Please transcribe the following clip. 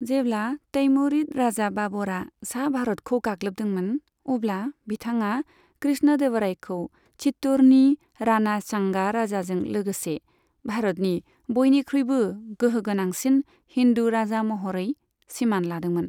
जेब्ला तैमुरिद राजा बाबरआ सा भारतखौ गाग्लोबदोंमोन, अब्ला बिथाङा कृष्णदेवरायखौ चित्तौड़नि राणा सांगा राजाजों लोगोसे भारतनि बयनिख्रुइबो गोहो गोनांसिन हिन्दु राजा महरै सिमान लादोंमोन।